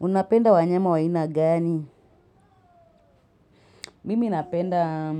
Unapenda wanyama wa aina gani? Mimi napenda